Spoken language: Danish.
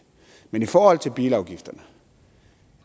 men i forhold til bilafgifterne